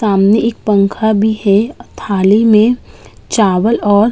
सामने एक पंखा भी है और थाली में चावल और --